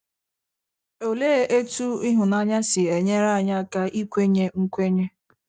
Olee otú ịhụnanya si enyere anyị aka ikwenye nkwenye?